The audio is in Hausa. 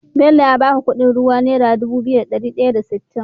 Bello ya baka Ƙudin ruwan naira Dubu biyu da dari daya da sitin?